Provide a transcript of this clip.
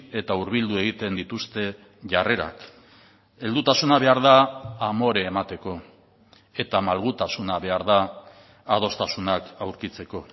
eta hurbildu egiten dituzte jarrerak heldutasuna behar da amore emateko eta malgutasuna behar da adostasunak aurkitzeko